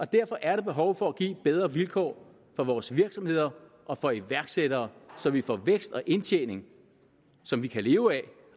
derfor er der behov for at give bedre vilkår for vores virksomheder og for iværksættere så vi får vækst og indtjening som vi kan leve af